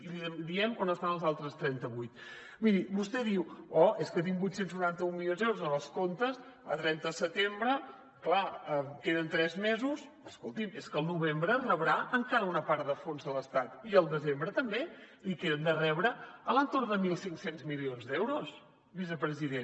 i li diem on estan els altres trenta vuit miri vostè diu oh és que tinc vuit cents i noranta un milions d’euros en els comptes a trenta de setembre clar queden tres mesos però escolti’m és que al novembre rebrà encara una part de fons de l’estat i al desembre també i que hem de rebre a l’entorn de mil cinc cents milions d’euros vicepresident